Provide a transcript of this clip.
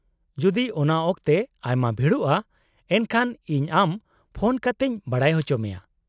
-ᱡᱩᱫᱤ ᱚᱟᱱ ᱚᱠᱛᱮ ᱟᱭᱢᱟ ᱵᱷᱤᱲᱚᱜᱼᱟ ᱮᱱᱠᱷᱟᱱ ᱤᱧ ᱟᱢ ᱯᱷᱳᱱ ᱠᱟᱛᱮᱧ ᱵᱟᱰᱟᱭ ᱚᱪᱚ ᱢᱮᱭᱟ ᱾